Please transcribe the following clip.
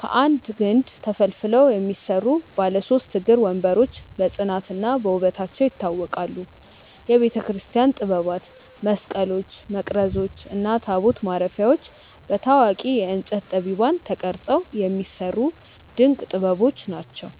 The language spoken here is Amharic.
ከአንድ ግንድ ተፈልፍለው የሚሰሩ ባለ ሦስት እግር ወንበሮች በጽናትና በውበታቸው ይታወቃሉ። የቤተክርስቲያን ጥበባት፦ መስቀሎች፣ መቅረዞች እና ታቦት ማረፊያዎች በታዋቂ የእንጨት ጠቢባን ተቀርጸው የሚሰሩ ድንቅ ጥበቦች ናቸው።